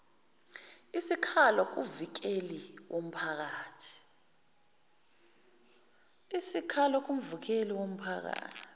isikhalo kumvikeli womphakathi